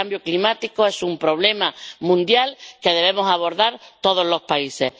El cambio climático es un problema mundial que debemos abordar todos los países.